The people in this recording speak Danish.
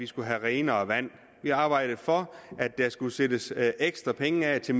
skulle være renere vand vi arbejdede for at der skulle sættes ekstra penge af til